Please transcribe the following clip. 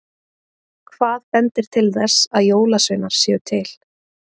Hvað bendir til þess að jólasveinar séu til?